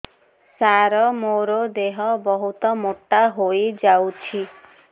ସାର ମୋର ଦେହ ବହୁତ ମୋଟା ହୋଇଯାଉଛି